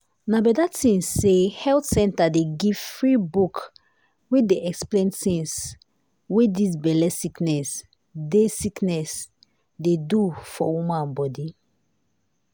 na beta tin say health center dey give free book wey dey explain tins wey dis belle sickness dey sickness dey do for woman bodi.